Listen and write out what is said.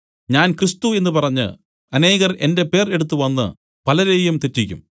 ഞാൻ ക്രിസ്തു എന്നു പറഞ്ഞു അനേകർ എന്റെ പേർ എടുത്തു വന്നു പലരെയും തെറ്റിക്കും